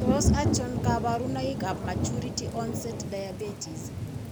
Tos achon kabarunaik ab Maturity onset diabetes